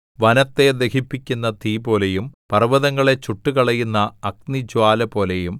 വനത്തെ ദഹിപ്പിക്കുന്ന തീപോലെയും പർവ്വതങ്ങളെ ചുട്ടുകളയുന്ന അഗ്നിജ്വാലപോലെയും